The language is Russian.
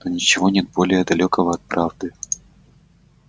но ничего нет более далёкого от правды